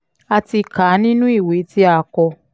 a ti kà á nínú ìwé tí o kọ